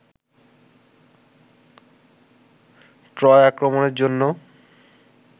Troy আক্রমণের জন্য